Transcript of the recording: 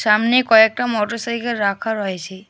সামনে কয়েকটা মটরসাইকেল রাখা রয়েছে।